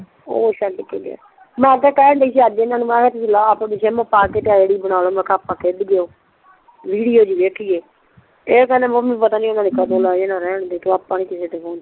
ਓ ਛੱਡ ਕੇ ਗਿਆ ਮੈਂ ਕੇਹਣ ਡ੍ਈ ਸੀ ਅੱਜ ਇੰਨਾ ਨੂੰ ਮੈਂ ਕਿਹਾ ਤੁਸੀਂ ਆਪਣੀ ਸਿਮ ਪਾ ਕੇ ਤੇ ਆਈ ਡੀ ਬਣਾ ਲਓ ਮੈਂ ਕਿਹਾ ਆਪਾ ਵਿਡੀਉ ਜੀ ਵੇਖੀਏ ਏ ਕਹਿੰਦੇ ਮੰਮੀ ਤੂੰ ਰਹੈਂ ਦੇ ਪਤਾ ਨਹੀਂ ਕਦੋਂ ਓਨਾ ਨੇ ਲੈ ਜਾਣਾ ਕੋਈ ਨੀ ਆਪਾਂ ਨਹੀਂ ਕਿਸੇ ਦਾ ਫ਼ੋਨ ਚਲੋਣਾ